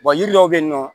yiri dɔw be yen nɔ